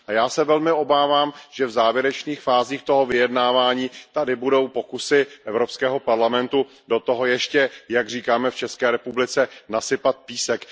Já se velmi obávám, že v závěrečných fázích toho vyjednávání tady budou pokusy Evropského parlamentu do toho ještě, jak říkáme v České republice, nasypat písek.